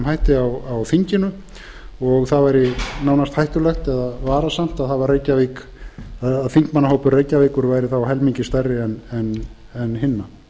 hætti á þinginu það væri nánast hættulegt eða varasamt að þingmannahópur reykjavíkur væri þá helmingi stærri en hinna